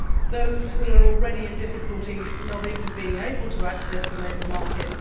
those who are already in difficulty not even being able to access the labour market